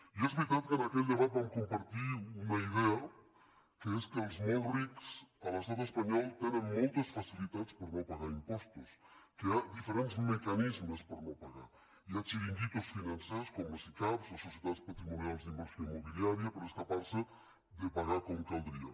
i és veritat que en aquell debat vam compartir una idea que és que els molt rics a l’estat espanyol tenen moltes facilitats per no pagar impostos que hi ha diferents mecanismes per no pagar los hi ha xiringuitos financers com les sicav les societats patrimonials d’inversió immobiliària per escapar se de pagar com caldria